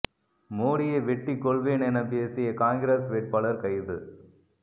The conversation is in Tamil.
மோடியை வெட்டி கொல்வேன் என பேசிய காங்கிரஸ் வேட்பாளர் கைது